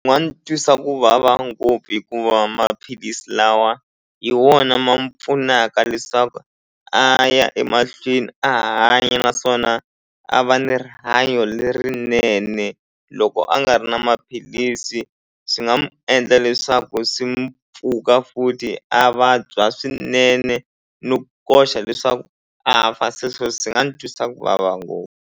twisa ku vava ngopfu hikuva maphilisi lawa hi wona ma pfunaka leswaku a ya emahlweni a hanya naswona a va ni rihanyo lerinene loko a nga ri na maphilisi swi nga n'wi endla leswaku swi mpfuka futhi a vabya swinene no koxa leswaku a fa se sweswo swi nga ni twisa ku vava ngopfu.